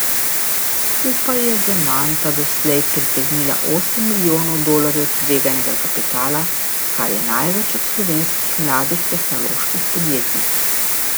Skupaj je Zemanta doslej pritegnila osem milijonov dolarjev tveganega kapitala, kar je največ od slovenskih mladih tehnoloških podjetij.